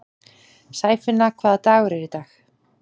Sæfinna, hvaða dagur er í dag?